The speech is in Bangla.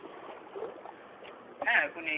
হ্যাঁ এখন এই,